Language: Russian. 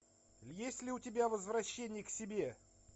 есть ли у тебя возвращение к себе